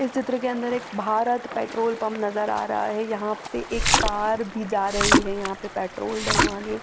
इस चित्र के अंदर एक भारत पेट्रोल पंप नज़र आरहा है यहाँ से एक कार भी जा रही है यहा पे पेट्रोल डल वाने।